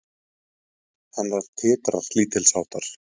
Rödd hennar titrar lítilsháttar.